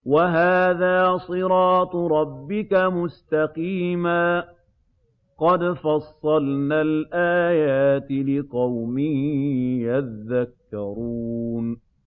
وَهَٰذَا صِرَاطُ رَبِّكَ مُسْتَقِيمًا ۗ قَدْ فَصَّلْنَا الْآيَاتِ لِقَوْمٍ يَذَّكَّرُونَ